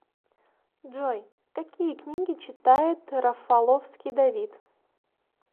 джой какие книги читает рафаловский давид